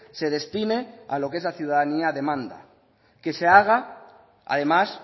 se destine a lo que es la ciudadanía demanda que se haga además